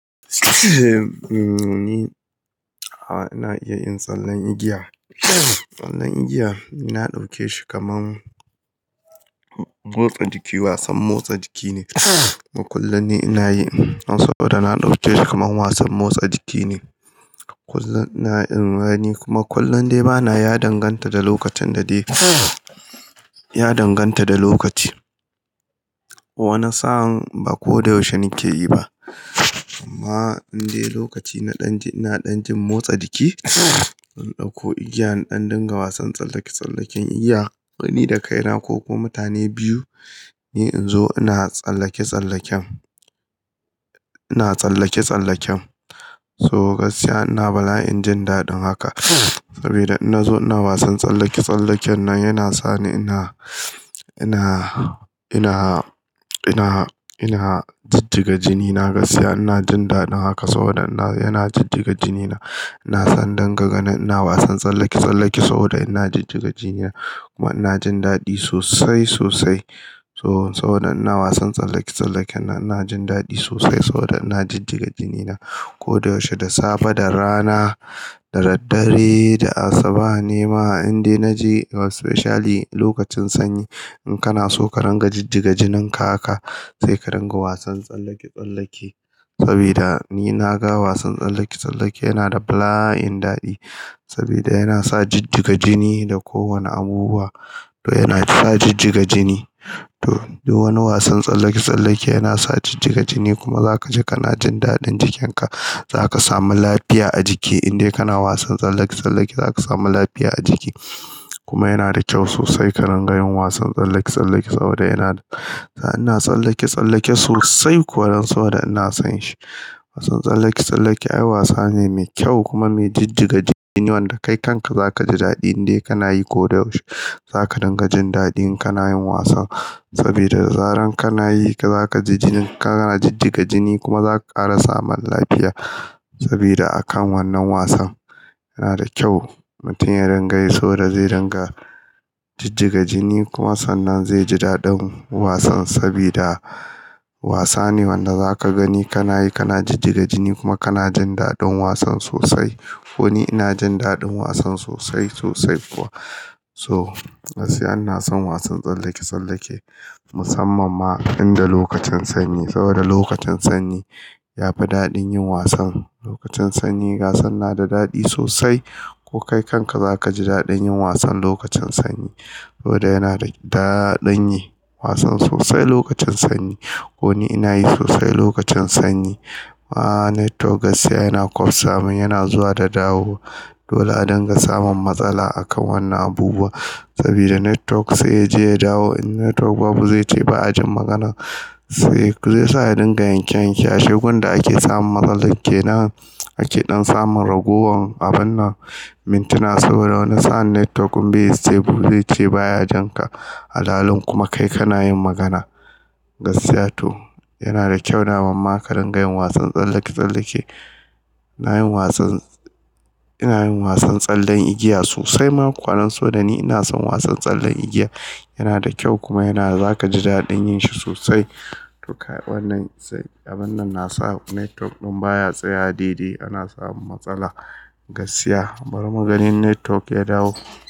Ni, a'a ina iya yin tsallen igiya. Tsallen igiya, na dauke shi kaman motsa jiki, wasan motsa jiki ne. Kuma kullum ni ina yi dan saboda na dauke shi kaman wasan motsa jiki ne. Kullum ina yi kuma kullum dai bana ya danganta da lokacin da dai ya danganta da lokaci. Wani sa'an ba ko da yaushe na ke yi ba. Amma in dai lokaci na dan ji, ina dan jin motsa jiki, in dauko igiyan in dan dinga wasan tsallake-tsallaken igiya. Ni da kaina ko kuma mutane biyu ne in zo ina tsallake-tsallaken, ina tsallake-tsallaken. So gaskiya ina bala'in jin daɗin haka. Saboda in na zo ina wasan tsallake-tsallaken nan yana sa ni ina, ina, ina, ina, ina jijjiga jini. Na gaskiya ina jin daɗin haka saboda ina, yana jijjiga jini na. Ina son in dinga ganin ina wasan tsallake-tsallake saboda ina jijjiga jini na kuma ina jin daɗi sosai, sosai. So saboda ina wasan tsallake-tsallaken nan ina jin daɗi sosai saboda ina jijjiga jini na ko da yaushe, da safe, da rana, da daddare, da asuba nema in dai naje especially lokacin sanyi. In kana so ka ringa jijjiga jinin ka haka sai ka ringa wasan tsallake-tsallake sabodi ni na ga wasan tsallake-tsallake yana da bala'in dadi saboda yana sa jijjiga jini da kowane abubuwa. To yana sa jijjiga jini. To, duk wani wasan tsallake-tsallake yana sa jijjiga jini kuma za ka ji kana jin daɗin jikin ka. Za ka samu lafiya a jiki in dai kana wasan tsallake-tsallake za ka samu lafiya a jiki kuma yana da kyau sosai ka ringa yin wasan tsallake-tsallake saboda yana, ina tsallake-tsallake sosai kuwa dan saboda ina son shi. Wasan tsallake-tsallake ai wasa ne mai kyau kuma mai jijjiga jini wanda kai kan ka za ka ji daɗi in dai kana yi ko da yaushe. Za ka dinga jin daɗi in kana yin wasan sabida da zaran kana yi, ka za ka ji jinin ka yana jijjiga jini kuma za kara samun lafiya saboda a kan wannan wasan. Yana da kyau mutum ya ringa yi saboda zai ringa jijjiga jini kuma sannan zai ji daɗin wasan sabida wasa ne wanda za ka gani kana yi kana jijjiga jini kuma kana jin daɗin wasan sosai. Ko ni ina jin daɗin wasan sosai, sosai kuwa. So gaskiya ina son wasan tsallake-tsallake musamman ma in da lokacin sanyi saboda lokacin sanyi yafi daɗin yin wasan. Lokacin sanyi wasan na da dadi sossai, ko kai kan ka za ka ji dadin yin wasan lokacin sanyi. Saboda yana da dadin yi wasan sossai lokacin sanyi. Kuɗi ina yi sosai lokacin sanyi. Ah network gaskiya yana ƙwafsa mun yana zuwa da dawowa. Dole a dinga samun matsala a kan wannan abubuwan sabida network sai ya je ya dawo. In network babu zai ce ba'a jin magana. Sai zai sa ya dinga yanke-yanke. Ashe gun da ake samun matsalan kenan ake ɗan samun ragowar abannan mintuna saboda wani sa'an network be stable zai ce baya jin ka. Alhalin kuma kai kana yin magana. Gaskiya to yana da kyau daman ma ka ringa yin wasan tsallake-tsallake. Ina yin wasan, ina yin wasan tsallen igiya sosai ma ku. Kuwa dan saboda ni ina son wasan tsallen igiya. Yana da kyau kuma yana, za ka ji daɗin yin shi sosai. To ka wannan abannan na sa network ɗin baya tsayawa daidai, ana samun matsala. Gaskiya, bari mu gani in network ya dawo.